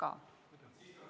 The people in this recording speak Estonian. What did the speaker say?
Aitäh!